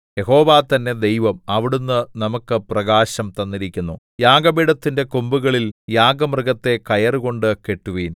യഹോവ തന്നെ ദൈവം അവിടുന്ന് നമുക്ക് പ്രകാശം തന്നിരിക്കുന്നു യാഗപീഠത്തിന്റെ കൊമ്പുകളിൽ യാഗമൃഗത്തെ കയറുകൊണ്ട് കെട്ടുവിൻ